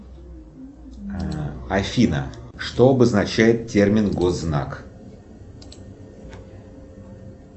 афина что обозначает термин госзнак